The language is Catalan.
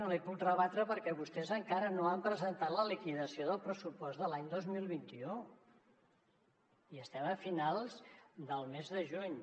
no l’hi puc rebatre perquè vostès encara no han presentat la liquidació del pressupost de l’any dos mil vint u i estem a finals del mes de juny